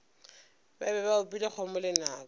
be ba opile kgomo lenaka